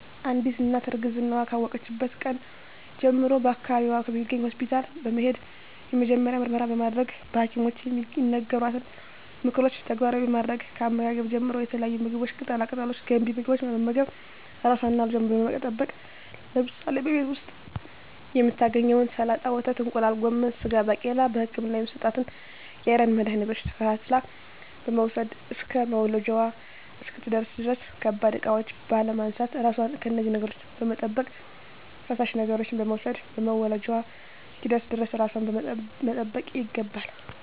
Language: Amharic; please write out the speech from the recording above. አንዲት እናት እርግዝናዋን ካወቀችበት ቀን ጀምሮ በአካባቢዋ በሚገኝ ሆስፒታል በመሄድ የመጀመሪያ ምርመራ በማድረግ በሀኪሞች የሚነገሯትን ምክሮች ተግባራዊ በማድረግ ከአመጋገብ ጀምሮ የተለያዩ ምግቦች ቅጠላ ቅጠሎች ገንቢ ምግቦች በመመገብ ራሷንና ልጇን በመጠበቅ ለምሳሌ በቤት ዉስጥ የምታገኛቸዉን ሰላጣ ወተት እንቁላል ጎመን ስጋ ባቄላ በህክምና የሚሰጣትን የአይረን መድሀኒቶች ተከታትላ በመዉሰድ እስከ መዉለጃዋ እስክትደርስ ድረስ ከባድ እቃዎች ባለማንሳት ራሷን ከነዚህ ነገሮች በመጠበቅ ፈሳሽ ነገሮችን በመዉሰድ መዉለጃዋ እስኪደርስ ድረስ ራሷን መጠበቅ ይገባል